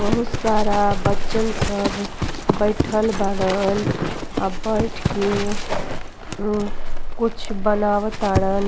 बहुत सारा बच्चन सभ बइठल बाड़न आ बइठ के म् कुछ बनाव ताड़न।